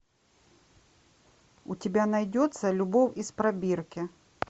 у тебя найдется любовь из пробирки